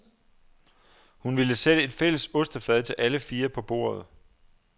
Hun ville sætte et fælles ostefad til alle fire på bordet.